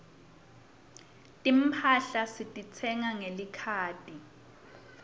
timphahla sititsenga ngelikhadi